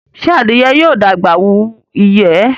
Ṣe adìye yóò dàgbà wù iyẹ?